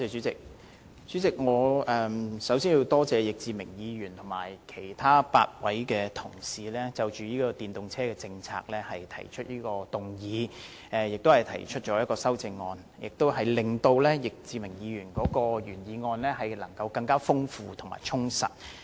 主席，我首先多謝易志明議員和其他8位議員就電動車政策提出議案和修正案，令易志明議員提出的原議案更加豐富和充實。